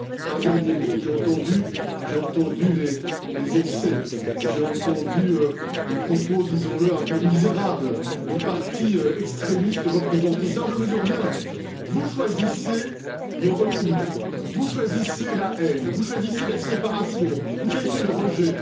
Enfin, un dernier mot, j'ai entendu les excès, j'ai entendu les propos, disons le, un peu misérables, des partis extrémistes représentés ici, alors je mesure bien vous choisissez le repli, vous choisissez la haine, vous choisissez la séparation, vous choisissez le rejet.